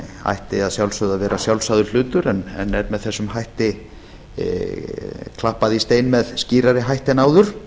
ætti að sjálfsögðu að vera sjálfsagður hlutur en er með þessum hætti klappað í stein með skýrari hætti en áður